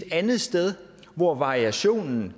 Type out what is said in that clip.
andet sted hvor variationen